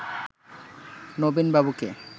নবীন বাবুকে